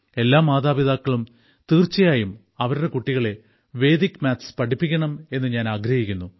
എല്ലാ മാതാപിതാക്കളും തീർച്ചയായും അവരുടെ കുട്ടികളെ വേദിക് മാത്സ് പഠിപ്പിക്കണം എന്ന് ഞാൻ ആഗ്രഹിക്കുന്നു